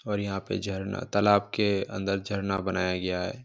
और यहां पे झरना तालाब के अंदर झरना बनाया गया है।